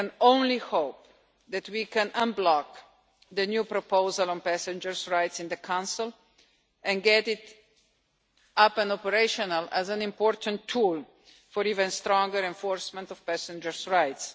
I can only hope that we can unblock the new proposal on passengers' rights in the Council and get it up and operational as an important tool for even stronger enforcement of passengers' rights.